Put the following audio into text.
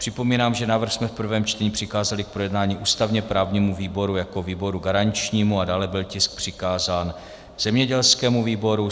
Připomínám, že návrh jsme v prvém čtení přikázali k projednání ústavně-právnímu výboru jako výboru garančnímu a dále byl tisk přikázán zemědělskému výboru.